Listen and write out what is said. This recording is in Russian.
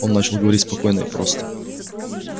он начал говорить спокойно и просто